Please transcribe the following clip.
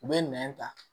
U bɛ nɛn ta